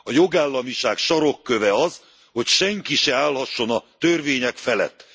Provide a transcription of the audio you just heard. A jogállamiság sarokköve az, hogy senki se állhasson a törvények felett.